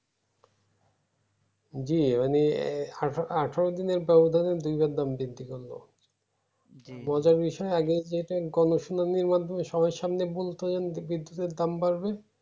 জী মানে আঠা-আঠারো দিনের দাম ধরে দুই বার দাম বৃদ্ধি করলো মজার বিষয় আগে যেটা internationally র মাধ্যমে সবাড়ির সামনে বলতো বিদ্যুতের দাম বাড়বে